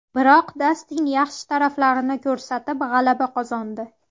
Biroq Dastin yaxshi taraflarini ko‘rsatib g‘alaba qozondi.